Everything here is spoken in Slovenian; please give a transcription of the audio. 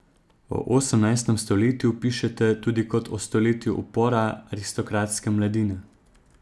O osemnajstem stoletju pišete tudi kot o stoletju upora aristokratske mladine.